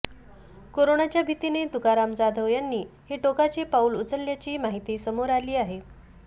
कोरोनाच्या भीतीने तुकाराम जाधव यांनी हे टोकाचं पाऊल उचलल्याची माहिती समोर आली आहे